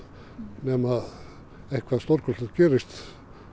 nema eitthvað stórkostlegt gerist